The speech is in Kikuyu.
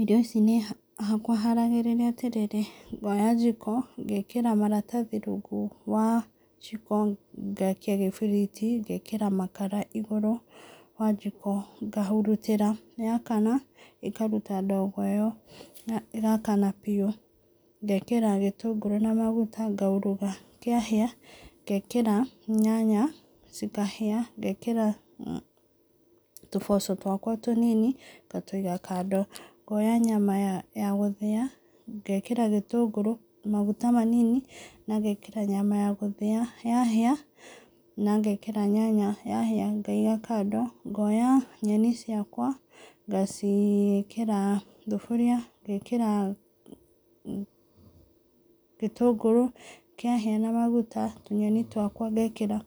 Irio ici niĩ hakwa haragĩrĩria atĩ rĩrĩ, ngooya jiko, ngeekĩra maratathi rungu wa jiko, ngaakia gĩbiriti, ngeekĩra makara igũrũ wa jiko, ngahurutĩra. Yaakana, ĩkaruta ndogo ĩyo na ĩgaakana biũ. Ngeekĩra gĩtũngũra na maguta ngauruga. Kĩahĩa, ngeekĩra nyanya, cikahĩa. Ngeekĩra tũboco twakwa tũnini ngatũiga kando. Ngoya nyama ya gũthĩa, ngeekĩra gĩtũngũrũ, maguta manini na ngeekĩra nyama ya gũthĩa. Yahĩa, na ngeekĩra nyanya, yahĩa, ngaiga kando. Ngoya nyeni ciakwa ngaciĩkĩra thuburia ngeekĩra gĩtũngũrũ, kĩahĩa na maguta, tũnyeni twakwa ngeekĩra.